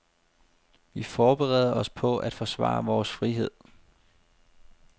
Vi forbereder os på at forsvare vores frihed.